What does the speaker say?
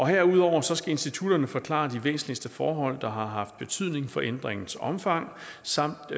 herudover skal institutterne forklare de væsentligste forhold der har haft betydning for ændringens omfang samt